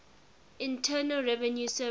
internal revenue service